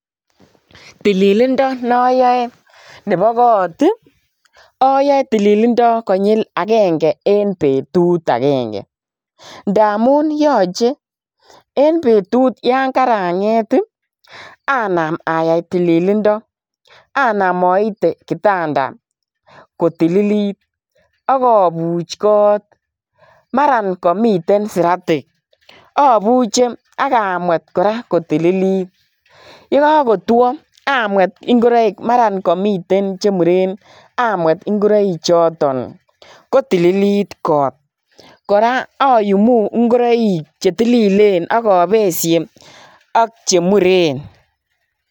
Tililindo noyoe nebo kot i ayae tililindo konyil agenge en betut agenge. Ndamun yache, en betut yon karanget ii, anam ayai tililindo. Anam aite kitanda kotililit ak abuch kot. Mara kamiten siratik abuche ak amwet kora kotililit. Ye kagotwo, amwet ingoroik mara kamiten chemuren, amwet ingoroik choton, kotililit kot. Kora ayumu ingoroik chetililen ak abesie ak che muren.